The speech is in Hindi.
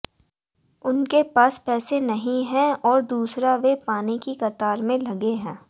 उनके पास पैसे नहीं है और दूसरा वे पानी की कतार में लगे हैं